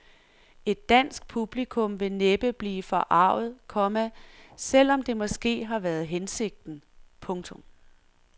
Et dansk publikum vil næppe blive forarget, komma selv om det måske har været hensigten. punktum